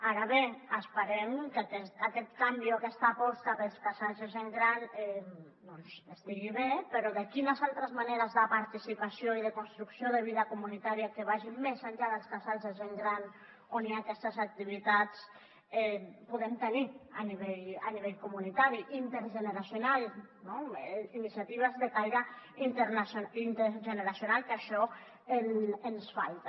ara bé esperem que aquest canvi o aquesta aposta pels casals de gent gran estigui bé però quines altres maneres de participació i de construcció de vida comunitària que vagin més enllà dels casals de gent gran on hi ha aquestes activitats podem tenir a nivell comunitari intergeneracional iniciatives de caire intergeneracional que això ens falta